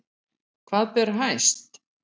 Hvað ber hæst